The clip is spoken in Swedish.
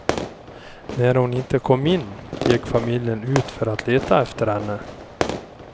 När hon inte kom in gick familjen ut för att leta efter henne.